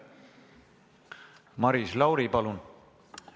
Maris Lauri, palun!